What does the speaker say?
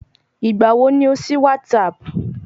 Ìgbà wo ni o sí WhatsApp?